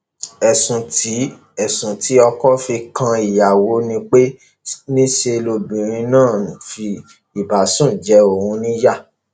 ẹsùn tí ẹsùn tí ọkọ fi kan ìyàwó ni pé níṣe lobìnrin náà ń fi ìbásùn jẹ òun níyà